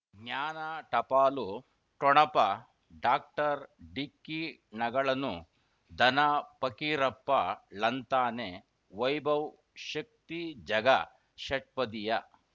ಜ್ಞಾನ ಟಪಾಲು ಠೊಣಪ ಡಾಕ್ಟರ್ ಢಿಕ್ಕಿ ಣಗಳನು ಧನ ಫಕೀರಪ್ಪ ಳಂತಾನೆ ವೈಭವ್ ಶಕ್ತಿ ಝಗಾ ಷಟ್ಪದಿಯ